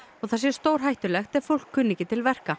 það sé stórhættulegt ef fólk kunni ekki til verka